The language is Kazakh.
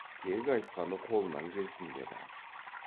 тек айтқаны қолынан келсін деді